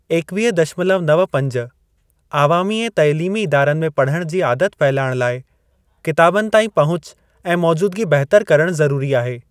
ईकवीह दशमलव नव पंज, आवामी ऐं तालीमी इदारनि में पढ़ण जी आदत फहिलाइण लाइ किताबनि ताईं पहुच ऐं मौजूदगी बहितर करणु ज़रूरी आहे।